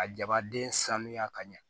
A jabaden sanuya ka ɲa